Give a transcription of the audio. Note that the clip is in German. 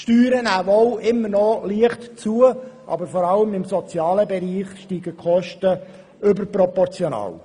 Die Steuereinnahmen nehmen nach wie vor leicht zu, aber vor allem im Sozialbereich steigen die Kosten überproportional.